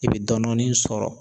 E bi dɔɔni dɔɔni sɔrɔ.